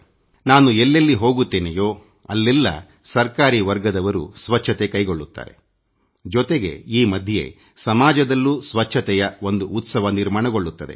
ನಾನು ಎಲ್ಲೆಲ್ಲಿ ಹೋಗುತ್ತೇನೆಯೋ ಅಲೆಲ್ಲ್ಲಾ ಸರ್ಕಾರಿ ವರ್ಗದವರು ಸ್ವಚ್ಛತೆ ಕೈಗೊಳ್ಳುತ್ತಾರೆ ಜೊತೆಗೆ ಈ ಮಧ್ಯೆ ಸಮಾಜದಲ್ಲೂ ಸ್ವಚ್ಛತೆಯ ಒಂದು ಸಾಮಾಜಿಕ ಕಾರ್ಯಕ್ರಮವಾಗುತ್ತಿದೆ